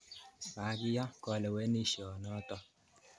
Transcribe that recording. Makiyan kalewenisyo notok